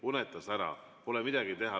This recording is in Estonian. Unustas ära, pole midagi teha.